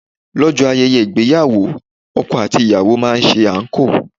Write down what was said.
Lọ́jọ́ ayẹyẹ ìgbéyàwó, ọkọ àti ìyàwó máa ń ṣe anko.